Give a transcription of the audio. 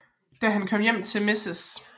Da han kommer hjem til Mrs